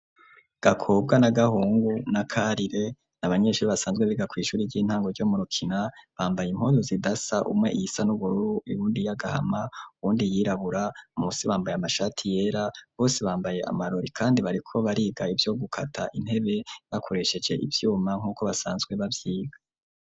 Gakobwa, Gahungu na Karire n'abanyeshuri basanzwe bega kwishuri ry'intango ryo murokina bambaye impoyo zidasa umwe iyisa n'ubururu ibundi y'agahama wundi yirabura munsi bambaye amashati yera bose bambaye amarori kandi bariko bariga ibyo gukata intebe bakoresheje ibyuma nk'uko basanzwe bavyiga.